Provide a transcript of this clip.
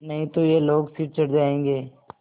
नहीं तो ये लोग सिर चढ़ जाऐंगे